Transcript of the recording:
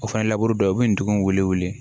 O fana labure dɔ ye u bɛ ndugun wele